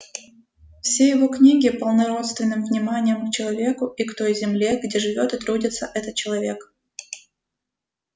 все его книги полны родственным вниманием к человеку и к той земле где живёт и трудится этот человек